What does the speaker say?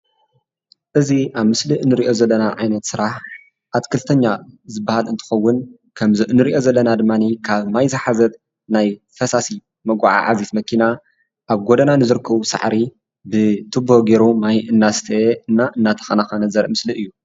እዚ ኣብ ምስሊ ንሪኦ ዘለና ዓይነት ስራሕ ኣትክልተኛ ዝበሃል እንትኸውን ከምዚ ንሪኦ ዘለና ድማኒ ካብ ማይ ዝሓዘት ናይ ፈሳሲ መጓዓዓዚት መኪና ኣብ ጎደና ንዝርከቡ ሳዕሪ ብቱቦ ገይሩ ማይ እናስተየና እናተኸናኸነ ዘርኢ ምስሊ እዩ፡፡